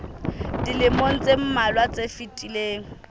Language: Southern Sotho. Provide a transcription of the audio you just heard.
dilemong tse mmalwa tse fetileng